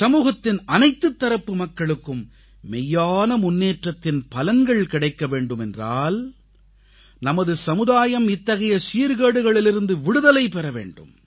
சமூகத்தின் அனைத்துத் தரப்பு மக்களுக்கும் மெய்யான முன்னேற்றத்தின் பலன்கள் கிடைக்க வேண்டுமென்றால் நமது சமுதாயம் இத்தகைய சீர்கேடுகளிலிருந்து விடுதலை பெற வேண்டும்